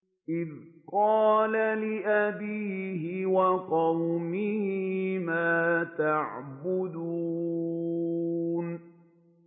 إِذْ قَالَ لِأَبِيهِ وَقَوْمِهِ مَا تَعْبُدُونَ